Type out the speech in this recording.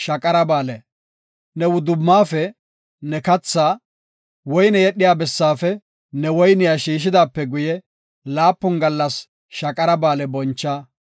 Ne wudumaafe ne kathaa, woyne yedhiya bessaafe ne woyniya shiishidaape guye, laapun gallas Shaqara Ba7aale boncha.